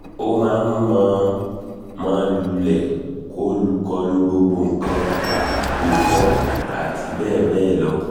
ó máa ń mọ̀-ọ́n-mọ̀ lulẹ̀ kọlu gbogbo nǹkan gù fò àti bẹ́ẹ̀ bẹ́ẹ̀ lọ